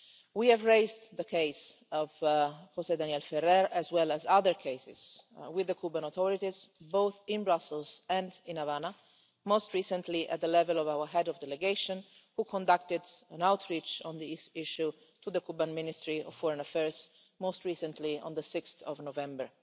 We have raised the case of José Daniel Ferrer, as well as other cases, with the Cuban authorities, both in Brussels and in Havana, most recently at the level of our Head of Delegation, who conducted an outreach on this issue to the Cuban Ministry of Foreign Affairs most recently on 6 November.